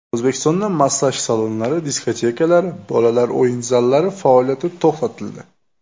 O‘zbekistonda massaj salonlari, diskotekalar, bolalar o‘yin zallari faoliyati to‘xtatildi.